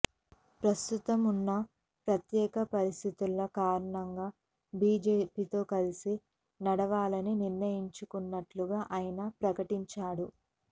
ప్రస్తుతం ఉన్న ప్రత్యేక పరిస్థితుల కారణంగా బీజేపీతో కలిసి నడవాలని నిర్ణయించుకున్నట్లుగా ఆయన ప్రకటించాడు